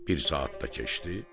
Bir saat da keçdi,